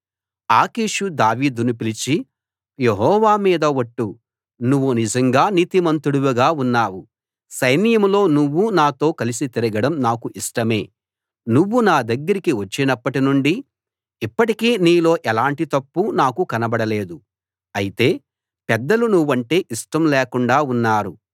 ఆకీషు దావీదును పిలిచి యెహోవా మీద ఒట్టు నువ్వు నిజంగా నీతిమంతుడివిగా ఉన్నావు సైన్యంలో నువ్వు నాతో కలసి తిరగడం నాకు ఇష్టమే నువ్వు నా దగ్గరికి వచ్చినప్పటి నుండి ఇప్పటికీ నీలో ఎలాంటి తప్పూ నాకు కనబడలేదు అయితే పెద్దలు నువ్వంటే ఇష్టం లేకుండా ఉన్నారు